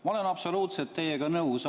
Ma olen teiega absoluutselt nõus.